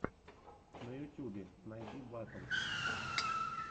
на ютюбе найди батл